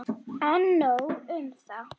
En nóg um það.